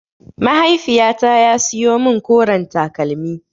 Mahaiifyata ya siyo min koren takalmi.